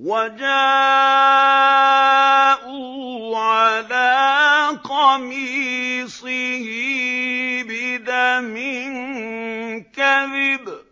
وَجَاءُوا عَلَىٰ قَمِيصِهِ بِدَمٍ كَذِبٍ ۚ